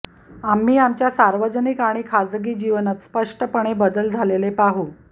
आम्ही आमच्या सार्वजनिक आणि खाजगी जीवनात स्पष्टपणे बदल झालेले पाहू